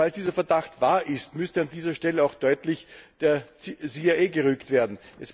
Falls dieser Verdacht wahr ist, müsste an dieser Stelle auch deutlich der CIA gerügt werden.